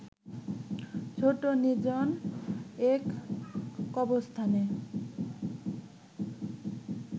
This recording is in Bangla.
ছোট্ট নির্জন এক কবরস্থানে